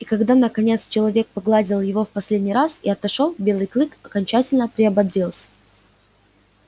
и когда наконец человек погладил его в последний раз и отошёл белый клык окончательно приободрился